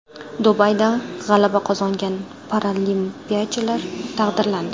Dubayda g‘alaba qozongan paralimpiyachilar taqdirlandi.